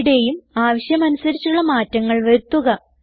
ഇവിടേയും ആവശ്യമനുസരിച്ചുള്ള മാറ്റങ്ങൾ വരുത്തുക